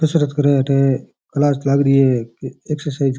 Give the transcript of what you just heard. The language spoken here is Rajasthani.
कसरत करे अठ क्लास लाग री है ये एक्सरसाइज --